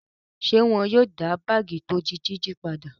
Ṣé wọn yóò dá báágì tí ó di jíjí padà?